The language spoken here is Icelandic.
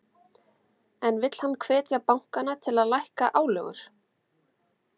En vill hann hvetja bankana til að lækka álögur?